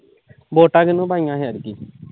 ਵੋਟਾਂ ਕੀਹਨੂੰ ਪਾਈਆਂ ਸੀ ਐਤਕੀਂ।